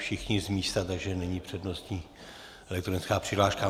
Všichni z místa, takže není přednostní elektronická přihláška.